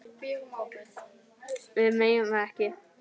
Við megum það ekki.